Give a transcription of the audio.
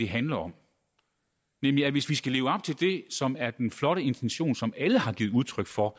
handler om nemlig at hvis vi skal leve op til det som er den flotte intention som alle har givet udtryk for